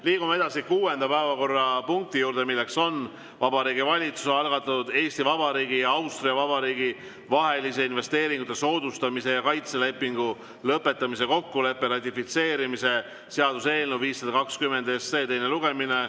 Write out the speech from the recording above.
Liigume edasi kuuenda päevakorrapunkti juurde, milleks on Vabariigi Valitsuse algatatud Eesti Vabariigi ja Austria Vabariigi vahelise investeeringute soodustamise ja kaitse lepingu lõpetamise kokkuleppe ratifitseerimise seaduse eelnõu 520 teine lugemine.